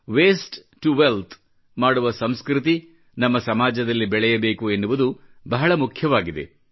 waste to wealth ಮಾಡುವ ಸಂಸ್ಕೃತಿ ನಮ್ಮ ಸಮಾಜದಲ್ಲಿ ಬೆಳೆಯಬೇಕು ಎನ್ನುವುದು ಬಹಳ ಮುಖ್ಯವಾಗಿದೆ